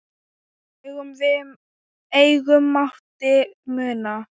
Engu mátti muna.